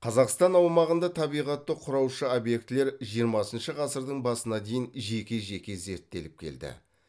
қазақстан аумағында табиғатты құраушы объектілер жиырмасыншы ғасырдың басына дейін жеке жеке зерттеліп келді